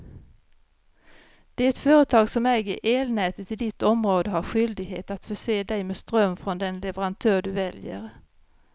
Det företag som äger elnätet i ditt område har skyldighet att förse dig med ström från den leverantör du väljer.